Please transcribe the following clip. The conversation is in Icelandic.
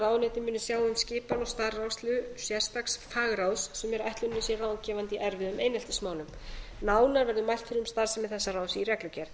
ráðuneytið muni sjá um skipan og starfrækslu sérstaks fagráðs sem er ætlunin að sé ráðgefandi í erfiðum eineltismálum nánar verður mælt fyrir um starfsemi þessa ráðs í reglugerð